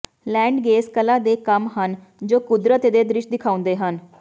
ਲੈਂਡਗੇਸ ਕਲਾ ਦੇ ਕੰਮ ਹਨ ਜੋ ਕੁਦਰਤ ਦੇ ਦ੍ਰਿਸ਼ ਦਿਖਾਉਂਦੇ ਹਨ